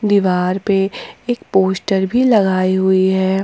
दीवार पे एक पोस्टर भी लगाई हुई है।